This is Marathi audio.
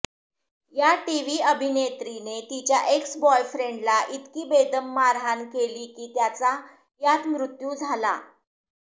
या टीव्ही अभिनेत्रीने तिच्या एक्स बॉयफ्रेन्डला इतकी बेदम मारहाण केली की त्याचा यात मृत्यू झाला